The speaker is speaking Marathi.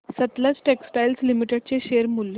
सतलज टेक्सटाइल्स लिमिटेड चे शेअर मूल्य